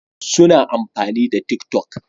Suna amfani da tik toc